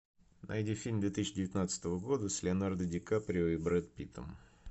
найди фильм две тысячи девятнадцатого года с леонардо ди каприо и брэд питтом